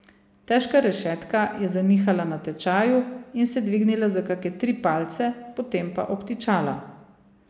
Težka rešetka je zanihala na tečaju in se dvignila za kake tri palce, potem pa obtičala.